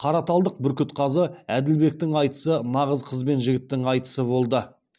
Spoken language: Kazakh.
қараталдық бүркітқазы әділбектің айтысы нағыз қыз бен жігіттің айтысы болды